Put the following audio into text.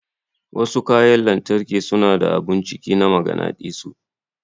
Wasu kayan lantarki suna da abun ciki na maganadisu.